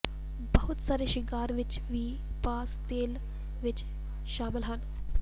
ਬਹੁਤ ਸਾਰੇ ਸ਼ਿੰਗਾਰ ਵਿਚ ਵੀ ਪਾਮ ਤੇਲ ਵਿੱਚ ਸ਼ਾਮਲ ਹਨ